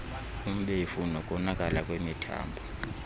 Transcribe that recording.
umbefu nokonakala kwemithambo